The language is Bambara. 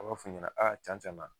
A b'a f'u ɲɛna , aa can can na